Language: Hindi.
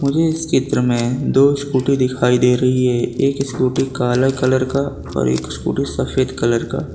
इस चित्र में दो स्कूटी दिखाई दे रही है एक स्कूटी काले कलर का और एक स्कूटी सफेद कलर का।